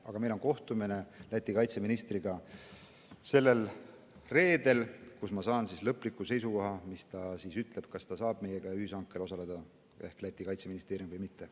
Aga meil on sellel reedel kohtumine Läti kaitseministriga ja seal ma saan lõpliku seisukoha, kas Läti kaitseministeerium saab meiega ühishankel osaleda või mitte.